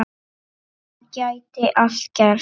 Þá gæti allt gerst.